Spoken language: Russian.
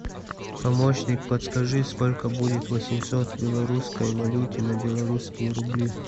помощник подскажи сколько будет восемьсот в белорусской валюте на белорусские рубли